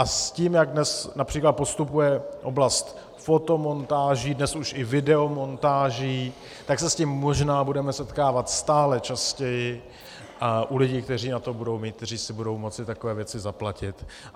A s tím, jak dnes například postupuje oblast fotomontáží, dnes už i videomontáží, tak se s tím možná budeme setkávat stále častěji u lidí, kteří na to budou mít, kteří si budou moci takové věci zaplatit.